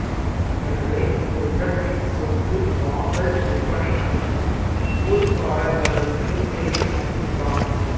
எனவே இந்த இடத்தின் சொத்து வாங்கல் விற்பனை அனைத்தும் ஊர்க்காரர்களுக்கு இடையே மட்டும்தான்